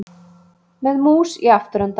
Með mús í afturendanum